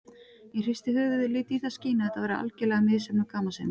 Ég hristi höfuðið og lét í það skína að þetta væri algerlega misheppnuð gamansemi.